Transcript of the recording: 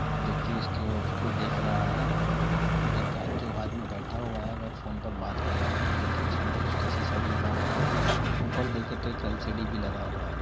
जो कि इसकी उसको को देख रहा हेै और एक जो आदमी बैठा हुआ है वह फोन पर बात कर रहा है। देखे तो सामने उसके एक शीशा भी लगा हुआ है। ऊपर देखे तो एक एल.सी.डी. भी लगा हुआ है।